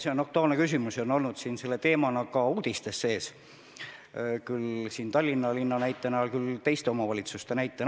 See on aktuaalne küsimus ja on tõesti teemana ka uudistes kõlanud – küll Tallinna linna näitel, küll teiste omavalitsuste näitel.